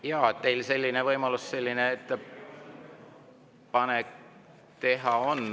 Jaa, teil võimalus selline ettepanek teha on.